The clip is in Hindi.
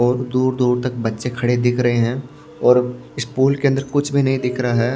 और दूर-दूर तक बच्चे खड़े दिख रहे हैं और इस पूल के अंदर कुछ भी नहीं दिख रहा है।